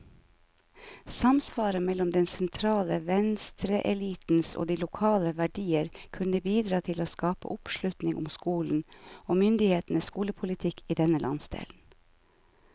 Samsvaret mellom den sentrale venstreelitens og de lokale verdier kunne bidra til å skape oppslutning om skolen, og myndighetenes skolepolitikk i denne landsdelen.